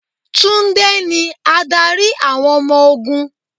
Tunde ni adarí àwọn ọmọ ogún.